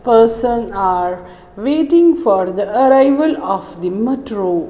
person are waiting for the arrival of the metro.